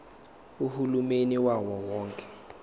uhulumeni wawo wonke